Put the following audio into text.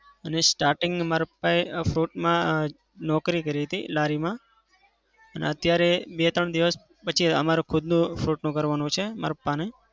અને starting માં મારા પપ્પાએ fruit માં નોકરી કરી હતી લારીમાં અને અત્યારે બે-ત્રણ દિવસ પછી અમારે ખુદનું fruit નું કરવાનું છે માર પપ્પાને.